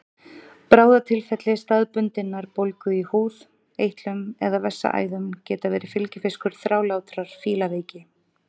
Bráðatilfelli staðbundinnar bólgu í húð, eitlum eða vessaæðum geta verið fylgifiskur þrálátrar fílaveiki.